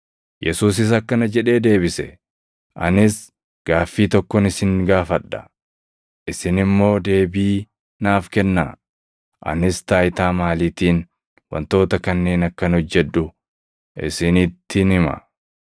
Yesuusis akkana jedhee deebise; “Anis gaaffii tokkon isin gaafadha. Isin immoo deebii naaf kennaa; anis taayitaa maaliitiin wantoota kanneen akkan hojjedhu isinittin hima.